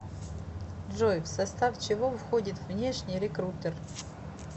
джой в состав чего входит внешний рекрутер